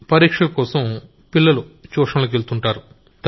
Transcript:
పరీక్షలకోసం పిల్లలు ట్యూషన్లకెళ్తారు